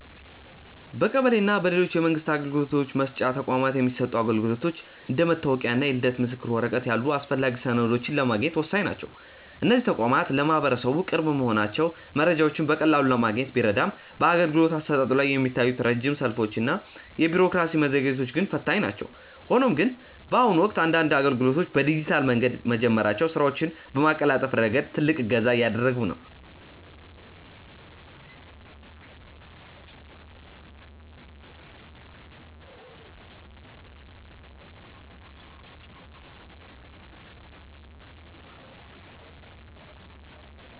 በቀበሌ እና በሌሎች የመንግስት አገልግሎት መስጫ ተቋማት የሚሰጡ አገልግሎቶች እንደ መታወቂያ እና የልደት ምስክር ወረቀት ያሉ አስፈላጊ ሰነዶችን ለማግኘት ወሳኝ ናቸው። እነዚህ ተቋማት ለማህበረሰቡ ቅርብ መሆናቸው መረጃዎችን በቀላሉ ለማግኘት ቢረዳም፣ በአገልግሎት አሰጣጡ ላይ የሚታዩት ረጅም ሰልፎች እና የቢሮክራሲ መዘግየቶች ግን ፈታኝ ናቸው። ሆኖም ግን፣ በአሁኑ ወቅት አንዳንድ አገልግሎቶች በዲጂታል መንገድ መጀመራቸው ስራዎችን በማቀላጠፍ ረገድ ትልቅ እገዛ እያደረገ ነው።